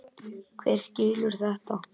Hver skilur þetta?